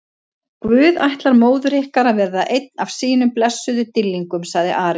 Guð ætlar móður ykkar að verða einn af sínum blessuðum dýrlingum, sagði Ari.